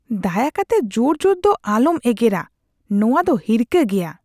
ᱫᱟᱭᱟ ᱠᱟᱛᱮ ᱡᱳᱨ ᱡᱳᱨ ᱫᱚ ᱟᱞᱚᱢ ᱮᱜᱮᱨᱟ, ᱱᱟᱶᱟ ᱫᱚ ᱦᱤᱨᱠᱟᱹ ᱜᱮᱭᱟ ᱾